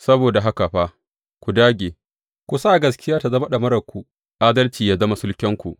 Saboda haka fa ku dāge, ku sa gaskiya tă zama ɗamararku, adalci yă zama sulkenku,